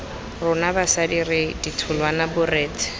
rona basadi re ditholwana borethe